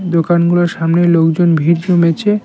দোকানগুলোর সামনে লোকজন ভির জমেছে।